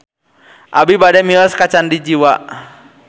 Abi bade mios ka Candi Jiwa